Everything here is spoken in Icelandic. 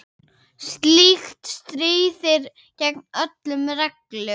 Slíkt stríðir gegn öllum reglum.